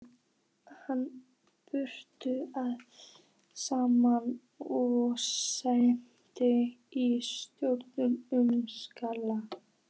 Hann braut það saman og setti í stórt umslag.